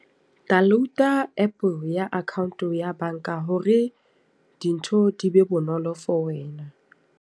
Download-a app ya account ya banka hore dintho di be bonolo for wena.